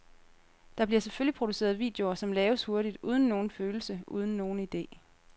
Der bliver selvfølgelig produceret videoer, som laves hurtigt, uden nogen følelse, uden nogen ide.